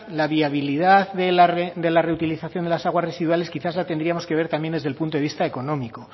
la viabilidad de la reutilización de las aguas residuales quizás la tendríamos que ver también desde el punto de vista económico